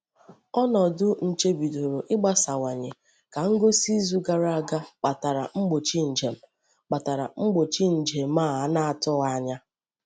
Ọnọ́dị nche bidoro ịgbasawanye ka ngosi izu gara aga kpatara mgbochi njem kpatara mgbochi njem a na-atụghị anya.